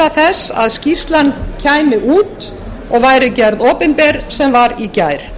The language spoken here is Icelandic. þess að skýrslan kæmi út og væri gerð opinber sem var í gær